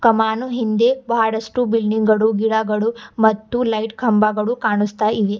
ಕಾಮಾನು ಹಿಂದೆ ಬಹಳಷ್ಟು ಬಿಲ್ಡಿಂಗ್ ಗಳು ಗಿಡಗಳು ಮತ್ತು ಲೈಟ್ ಕಂಬಗಳು ಕಾಣಸ್ತಾಇವೆ.